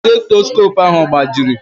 Stetoskopu ahụ agbajiri?